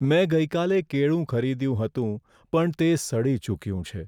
મેં ગઈકાલે કેળું ખરીદ્યું હતું પણ તે સડી ચૂક્યું છે.